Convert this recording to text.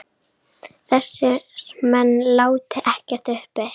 Þessir menn láti ekkert uppi.